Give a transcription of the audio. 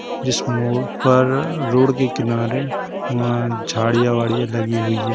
जिस मोड़ पर रोड के किनारे वहाँ झाड़ियां वाडियां लगी हुई हैं।